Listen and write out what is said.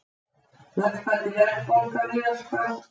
Lækkandi verðbólga víðast hvar